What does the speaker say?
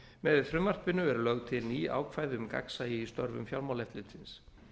með frumvarpinu eru lögð til ný ákvæði um gagnsæi í störfum fjármálaeftirlitsins